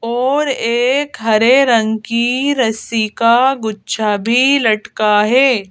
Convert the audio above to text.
और एक हरे रंग की रस्सी का गुच्छा भी लटका है।